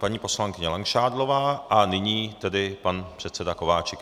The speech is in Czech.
Paní poslankyně Langšádlová a nyní tedy pan předseda Kováčik.